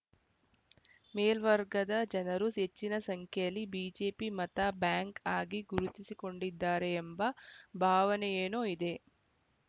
ಮೇಲ್ವರ್ಗದ ಜನರು ಹೆಚ್ಚಿನ ಸಂಖ್ಯೆಯಲ್ಲಿ ಬಿಜೆಪಿ ಮತ ಬ್ಯಾಂಕ್‌ ಆಗಿ ಗುರುತಿಸಿಕೊಂಡಿದ್ದಾರೆ ಎಂಬ ಭಾವನೆಯೇನೋ ಇದೆ